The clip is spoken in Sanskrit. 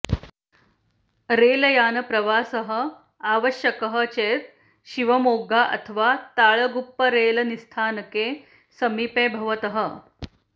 रेल् यानप्रवासः आवश्यकः चेत् शिवमोग्गा अथवा ताळगुप्प रेल् निस्थानके समीपे भवतः